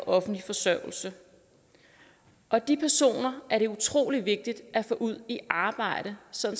offentlig forsørgelse og de personer er det utrolig vigtigt at få ud i arbejde så